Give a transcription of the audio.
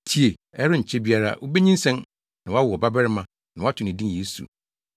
Tie! Ɛrenkyɛ biara wubenyinsɛn na woawo ɔbabarima na woato ne din Yesu.